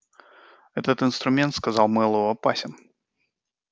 этот инструмент сказал мэллоу опасен